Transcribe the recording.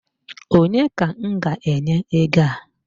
Onye ka m ga-enye ego a?